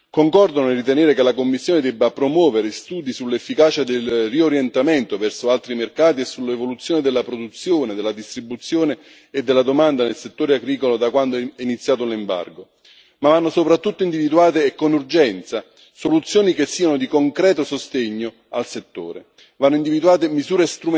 Concordo nel ritenere che la Commissione debba promuovere studi sull'efficacia del riorientamento verso altri mercati e sull'evoluzione della produzione, della distribuzione e della domanda nel settore agricolo da quando è iniziato l'embargo, ma vanno soprattutto individuate con urgenza soluzioni che siano di concreto sostegno al settore, vanno individuate misure